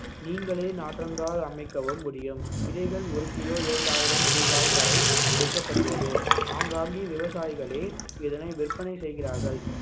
நீங்களே நாற்றங்கால் அமைக்கவும் முடியும் விதைகள் ஒரு கிலோ இரண்டாயிரம் ரூபாய் வரை விற்கப்படுகிறது ஆங்காங்கே விவசாயிகளே இதனை விற்பனை செய்கிறார்கள்